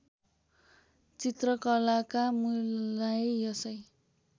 चित्रकलाका मूललाई यसै